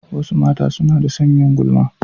Wasu mata suna da son yin gulma.